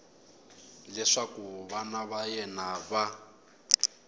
leswaku vana va yena va